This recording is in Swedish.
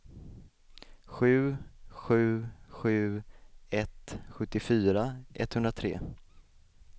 sju sju sju ett sjuttiofyra etthundratre